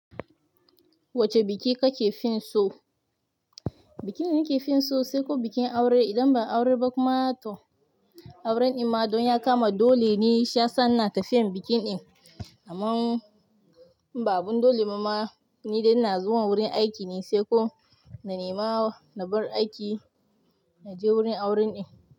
Wace biki kake fin so. Bikin da nake fin so sai ko bikin aure. Idan ba aure ba kuma to auren in ma don ya kama dole ne shiyasa na ke tafiyan biki ɗin. Amma in ba abin dole ba ma, ni dai ina zuwa wurin aiki ne sai ko na nemawa na bar aiki, na je wurin auren ɗin.